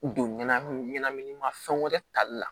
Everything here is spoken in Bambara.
Don ɲana ɲɛnaminima fɛn wɛrɛ tali la